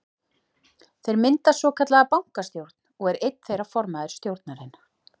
Þeir mynda svokallaða bankastjórn og er einn þeirra formaður stjórnarinnar.